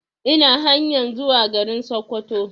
Ina hanyan zuwa garin Sokoto